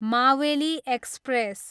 Maveli express